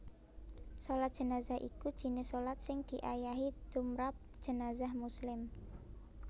Shalat Jenazah iku jinis shalat sing diayahi tmrap jenazah muslim